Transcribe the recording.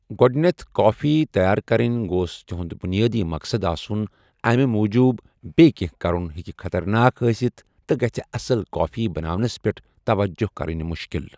گۄڈٕنیَتھ کَافی تیار کرٕنۍ گوٚس تُہُنٛد بُنیٲدی مقصد آسُن، اَمی موٗجوٗب بیٚیہِ کینٛہہ کرُن ہٮ۪کہِ خطرناک ٲسِتھ تہٕ گژھسہِ اصل کَافی بناونَس پٮ۪ٹھ توجہ کرِنۍ مُشکِل۔